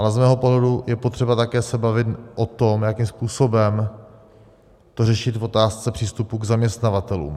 Ale z mého pohledu je potřeba se také bavit o tom, jakým způsobem to řešit v otázce přístupu k zaměstnavatelům.